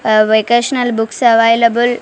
vocational books available --